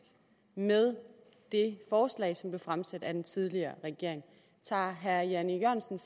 med det forslag som blev fremsat af den tidligere regering tager herre jan e